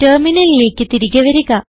ടെർമിനലിലേക്ക് തിരികെ വരിക